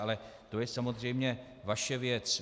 Ale to je samozřejmě vaše věc.